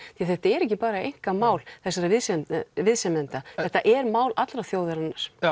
því þetta er ekki bara einkamál þessara viðsemjenda viðsemjenda þetta er mál allrar þjóðarinnar